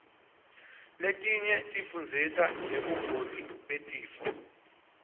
letinye tifundzisa ngebungoti betifo